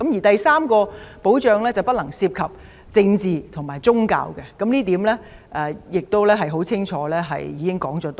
第三項保障是不能涉及政治和宗教，政府已多次清楚指出這點。